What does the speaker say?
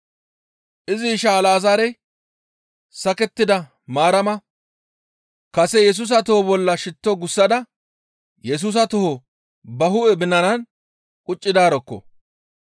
Izi isha Alazaarey sakettida Maarama kase Yesusa toho bolla shitto gussada Yesusa toho ba hu7e binanan quccidaarokko.